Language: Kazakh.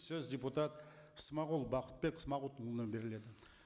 сөз депутат смағұл бақытбек смағұлұлына беріледі